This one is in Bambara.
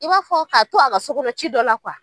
I b'a fɔ k'a to a ka sokɔnɔ ci dɔ la